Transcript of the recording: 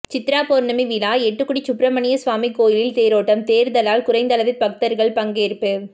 சித்ரா பவுர்ணமி விழா எட்டுக்குடி சுப்பிரமணியசுவாமி கோயிலில் தேரோட்டம் தேர்தலால் குறைந்தளவே பக்தர்கள் பங்கேற்பு